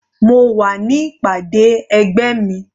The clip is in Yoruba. Mo wà ní ìpàdé ẹgbẹ́ mi.